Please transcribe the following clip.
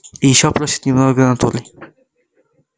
и ещё просят немного натурой